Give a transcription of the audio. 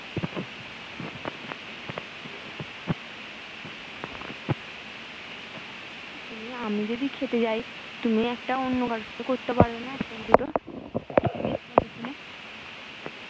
তুমি আমি যদি খেতে যাই তুমি একটা অন্য কারোর সাথে করতে পারবে না একটা বা দুটো উম ততক্ষনে